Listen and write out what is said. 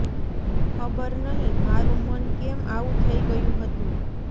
ખબર નહીં મારું મન કેમ આવું થઈ ગયું હતું